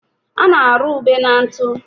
a na-arụ ube na ntụ.